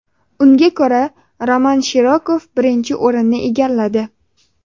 Unga ko‘ra Roman Shirokov birinchi o‘rinni egalladi.